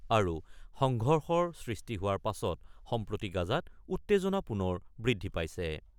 আৰু সংঘৰ্ষৰ সৃষ্টি হোৱাৰ পাছত সম্প্ৰতি গাজাত উত্তেজনা পুনৰ বৃদ্ধি পাইছে।